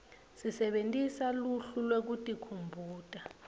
sebentisa luhlu lwekutikhumbuta